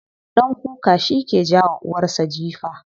Ɗan kuka shike jawa uwarsa jifa.